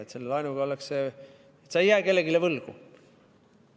Et sa ei jää kellelegi võlgu.